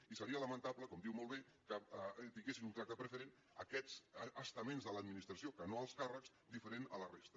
i seria lamentable com diu molt bé que tinguessin un tracte preferent aquests es taments de l’administració que no alts càrrecs diferent de la resta